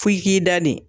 F'i k'i da de